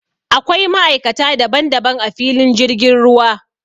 Akwai ma'aikata daban daban a filin jirgin ruwa